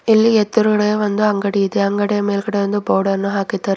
ಇಲ್ಲಿ ಎದ್ರುಗಡೆ ಒಂದು ಅಂಗಡಿ ಇದೆ ಅಂಗಡಿ ಮೇಲ್ಗಡೆ ಒಂದು ಬೋರ್ಡ್ ಅನ್ನು ಹಾಕಿದ್ದಾರೆ.